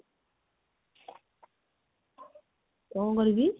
କଣ କରିବି?